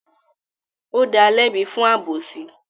Ó dalẹ́bi fún àbósí.